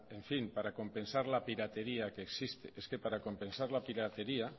en fin para compensar la piratería que existe es que para compensar la piratería